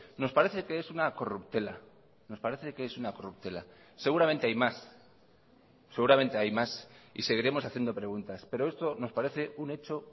nos parece que es una corruptela nos parece que es una corruptela seguramente hay más seguramente hay más y seguiremos haciendo preguntas pero esto nos parece un hecho